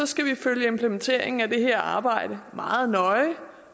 skal vi følge implementeringen af det her arbejde meget nøje